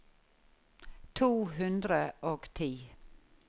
to hundre og ti